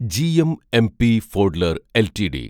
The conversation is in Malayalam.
GMMP Fodler LTD